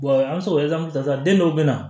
an bɛ so sisan den dɔw bɛ na